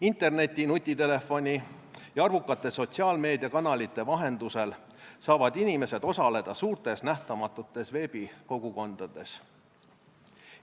Interneti, nutitelefoni ja arvukate sotsiaalmeediakanalite vahendusel saavad inimesed osaleda suurtes nähtamatutes veebikogukondades.